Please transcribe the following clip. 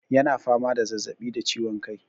Yana fama da zazzabi da ciwon kai.